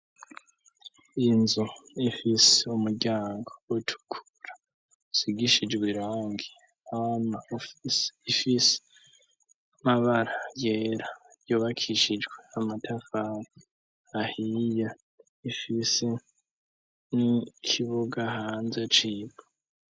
inzu ifise umuryango utukura isigishijwe irangi, hama ifise amabara yera yubakishijwe amatafari ahiye, ifise n'ikibuga hanze c'ivu.